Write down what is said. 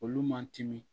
Olu man timi